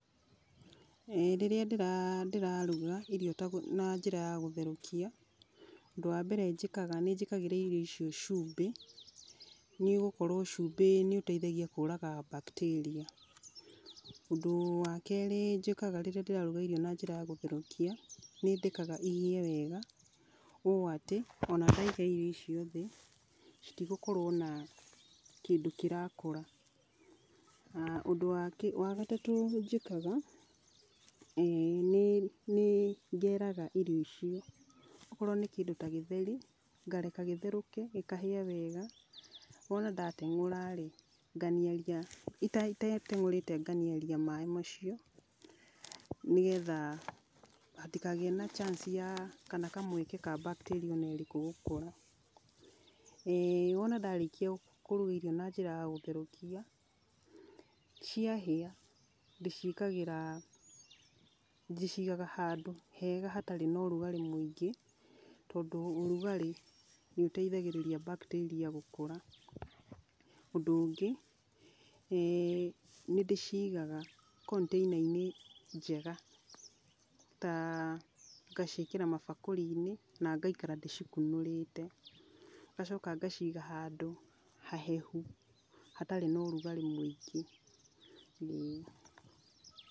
Ĩĩ rĩrĩa ndĩraruga irio na njĩra ya gũtherũkia, ũndũ wa mbere njĩkaga nĩ njĩkagĩra irio icio cumbĩ, nĩ gũkorwo cumbĩ nĩ ũteithagia kũraga mbakteria. Ũndũ wa kerĩ njĩkaga rĩrĩa ndĩraruga irio na njĩra ya gũtherũkia, nĩ ndekaga ihĩe wega, ũũ atĩ, o na ndaiga irio icio thĩ, citigũkorwo na kĩndũ kĩrakũra. Ũndũ wa gatatũ njĩkaga, nĩ ngeraga irio icio, okorwo nĩ kĩndũ ta gĩtheri, ngareka gĩtherũke, gĩkahĩa wega, wona ndateng'ũra-rĩ, itateng'ũrĩte nganiaria maĩ macio, nĩgetha hatikagĩe na chance ya, kana kamweke ka mbakteria o na ĩrĩkũ gũkũra. Wona ndarĩkia kũruga irio na njĩra ya gũtherũkia, ciahĩa ndĩciĩkagĩra, ndĩcigaga handũ hega hatarĩ na ũrugarĩ mũingĩ, tondũ ũrugarĩ nĩ ũteithagĩrĩria mbakteria gũkũra. Ũndũ ũngĩ, nĩndĩcigaga container inĩ njega, ta ngaciĩkĩra mabakũri-inĩ na ngaikara ndĩcikunũrĩte, ngacoka ngaciga handũ hahehu hatarĩ na ũrugarĩ mũingĩ